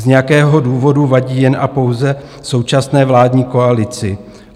Z nějakého důvodu vadí jen a pouze současné vládní koalici.